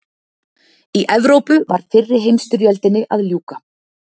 Í Evrópu var fyrri heimsstyrjöldinni að ljúka.